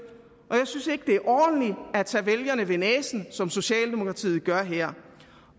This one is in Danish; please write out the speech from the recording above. og jeg synes ikke det er ordentligt at tage vælgerne ved næsen som socialdemokratiet gør her